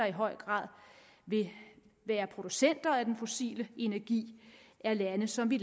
i høj grad vil være producenter af den fossile energi er lande som vi